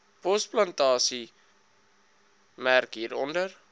bosplantasie merk hieronder